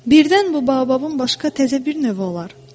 Birdən bu baobabın başqa təzə bir növü olar.